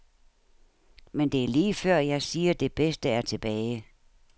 Men det er lige før, jeg siger, det bedste er tilbage.